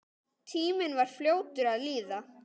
Tíminn var fljótur að líða.